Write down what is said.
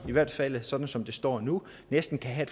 i hvert fald sådan som det står nu næsten kan have